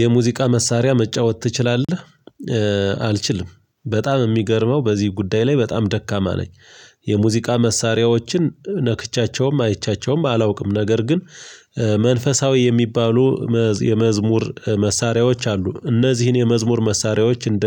የሙዚቃ መሳሪያ መጫወት ትችላለህ? አልችልም በጣም የሚገርመው በዚህ ጉዳይ ላይ በጣም ደካማ ነኝ። የሙዚቃ መሳሪያዎችን ነክቻቸውም አይቻቸውም አላውቅም ነገር ግን። መንፈሳዊ የሚባሉ የመዝሙር መሳሪያዎች አሉ። እነዚህን የመዝሙር መሳሪያዎች እንደ